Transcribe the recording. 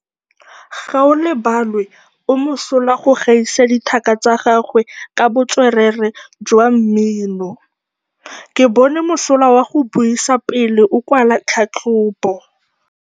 Gaolebalwe o mosola go gaisa dithaka tsa gagwe ka botswerere jwa mmino. Ke bone mosola wa go buisa pele o kwala tlhatlhobô.